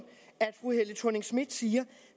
at fru helle thorning schmidt siger